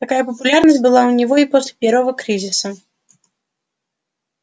такая популярность была у него и после первого кризиса